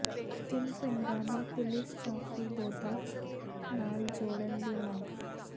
ਤਿੰਨ ਪਿੰਡਾਂ ਨੂੰ ਪੁਲੀਸ ਚੌਕੀ ਦੋਦਾ ਨਾਲ ਜੋੜਨ ਦੀ ਮੰਗ